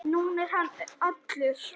Nú er hann allur.